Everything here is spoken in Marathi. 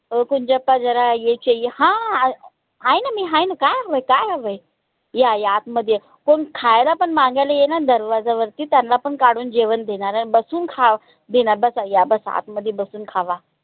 ओ कुंजाप्पा झरा ये चाहिये हा आय न मी हाय न काय हवंय? काय हवंय? या या आतमध्ये या कोन खायला पन माघायला ये ना दरवाज्यावरती त्यांला पन काढून जेवन देनाराय बसून खाव बिना बसा या बसा आतमध्ये बसून खावा